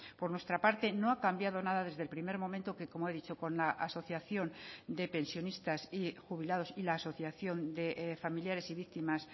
por nuestra parte no ha cambiado nada desde el primer momento que como he dicho con la asociación de pensionistas y jubilados y la asociación de familiares y víctimas